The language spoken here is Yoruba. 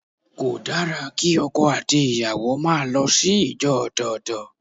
Kò dára kí ọkọ àti ìyàwó máa lọ sí ìjọ ọ̀tọ̀ọ̀tọ̀.